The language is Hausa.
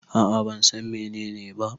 A'a ban San menene ba.